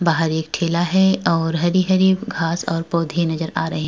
बाहर एक ठेला है और हरी-हरी घांस और पौधे नजर आ रहे हैं।